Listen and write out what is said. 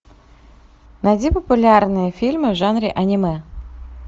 найди популярные фильмы в жанре аниме